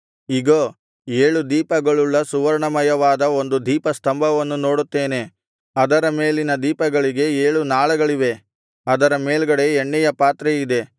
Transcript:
ಇಗೋ ಏಳು ದೀಪಗಳುಳ್ಳ ಸುವರ್ಣಮಯವಾದ ಒಂದು ದೀಪಸ್ತಂಭವನ್ನು ನೋಡುತ್ತೇನೆ ಅದರ ಮೇಲಿನ ದೀಪಗಳಿಗೆ ಏಳು ನಾಳಗಳಿವೆ ಅದರ ಮೇಲ್ಗಡೆ ಎಣ್ಣೆಯ ಪಾತ್ರೆಯಿದೆ